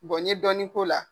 Bɔn n ye dɔɔnin k'o la.